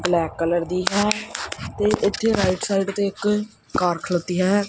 Black colour ਦੀ ਹੈ right side ਤੇ ਇਕ ਕਾਰ ਖਲੋਤੀ ਹੈ।